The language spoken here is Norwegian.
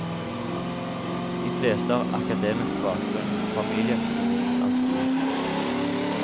De fleste har akademisk bakgrunn, og familieøkonomien er solid.